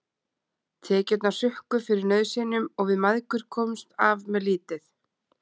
Tekjurnar hrukku fyrir nauðsynjum og við mæðgur komumst af með lítið.